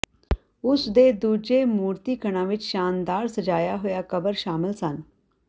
ਉਸ ਦੇ ਦੂਜੇ ਮੂਰਤੀਕਣਾਂ ਵਿਚ ਸ਼ਾਨਦਾਰ ਸਜਾਇਆ ਹੋਇਆ ਕਬਰ ਸ਼ਾਮਲ ਸਨ